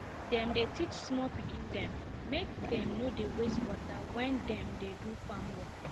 dem dy teach small pikin dem make dem no dey waste water when dem dey do farm work